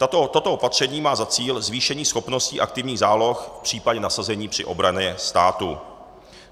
Toto opatření má za cíl zvýšení schopností aktivních záloh v případě nasazení při obraně státu.